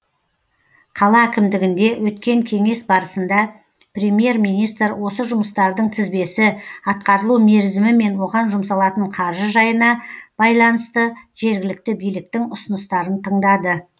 қала әкімдігінде өткен кеңес барысында премьер министр осы жұмыстардың тізбесі атқарылу мерзімі мен оған жұмсалатын қаржы жайына байланысты жергілікті биліктің ұсыныстарын тыңдады